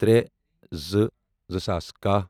ترے زٕ، زٕ ساس کہہَ